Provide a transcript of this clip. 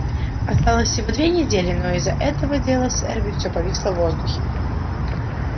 осталось всего две недели но из-за этого дела с эрби всё повисло в воздухе